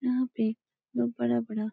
यहाँ पे लोग बड़ा बड़ा --